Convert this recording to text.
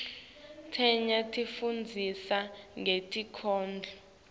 letinye tisifundzisa ngetinkhondlo